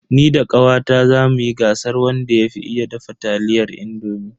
Ni da kawata zamu yi gasar wanda ya fi iya dafa taliyar indomi.